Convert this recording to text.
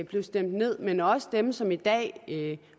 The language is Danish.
blev stemt ned men også dem som i dag